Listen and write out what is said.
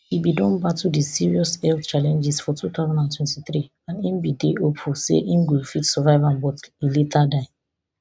e bin don battle di serious health challenges for two thousand and twenty-three and im bin dey hopeful say im go fit survive am but e later die